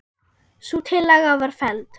Sú tillaga var felld.